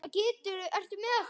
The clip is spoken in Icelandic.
Þetta vakti áhuga minn.